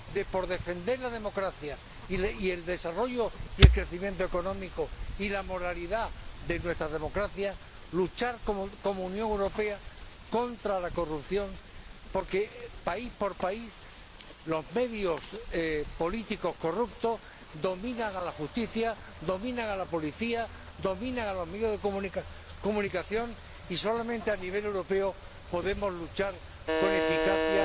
para defender la democracia, el desarrollo, el crecimiento económico y la moralidad de nuestra democracia, de luchar como Unión Europea contra la corrupción, porque, país por país, los medios políticos corruptos dominan a la justicia, dominan a la policía, dominan a los medios de comunicación, y solamente a escala europea podemos luchar con eficacia